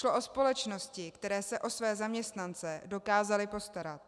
Šlo o společnosti, které se o své zaměstnance dokázaly postarat.